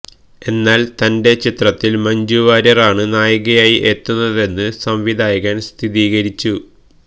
എന്നാല് തന്റെ ചിത്രത്തില് മഞ്ജു വാര്യരാണ് നായികയായി എത്തുന്നതെന്ന് സംവിധായകന് സ്ഥിരീകരിച്ചു